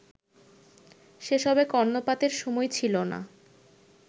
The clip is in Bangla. সেসবে কর্ণপাতের সময় ছিল না